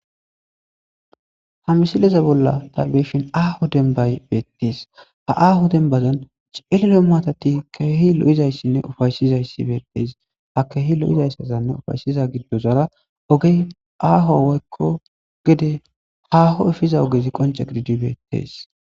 ha misileza bolla tabeyishin aaho dembay beettes ha aaho denbazan cello maatati keehi lo7izayssinne ufayshizayssi beetteys ha keehi lo7izayssazanne ufayshiza giddozara oge aaho woykko gede haho efiza ogezi qonce gididi beettes